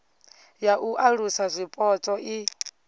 ya u alusa zwipotso i